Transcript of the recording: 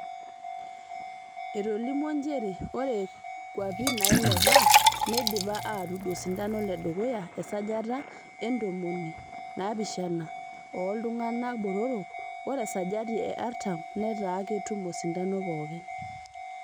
Etolimuo nchere ore kwapi nailepa neidipa aatud osindano le dukuya e sajati e ntomoni naapishana ooltungana botorok ore esajati e artam netaa ketum osindano pookiin.